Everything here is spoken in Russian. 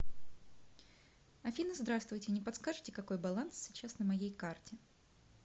афина здравствуйте не подскажите какой баланс сейчас на моей карте